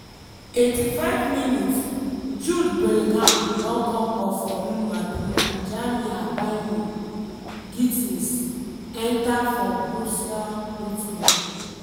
85mins- jude bellingham don come off for real madrid and jamie bynoe-git ten s enta for borussia dortmund.